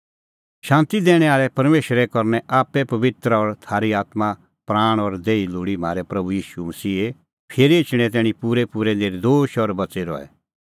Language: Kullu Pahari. शांती दैणैं आल़ै परमेशरा करनै आप्पै तम्हैं पबित्र और थारी आत्मां प्राण और देही लोल़ी म्हारै प्रभू ईशू फिरी एछणें तैणीं पूरैपूरै नर्दोश और बच़ी रहै